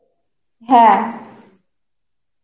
হ্যা.